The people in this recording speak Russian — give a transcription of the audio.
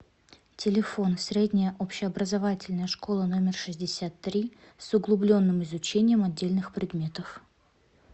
телефон средняя общеобразовательная школа номер шестьдесят три с углубленным изучением отдельных предметов